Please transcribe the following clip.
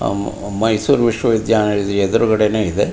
ಅವು ಮೈಸೂರ್ ವಿಶ್ವ ವಿದ್ಯಾನಿಲಯದ ಎದುರುಗದೇನೆ ಇದೆ.